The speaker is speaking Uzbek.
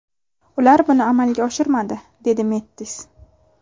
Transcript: Ular buni amalga oshirmadi”, dedi Mettis.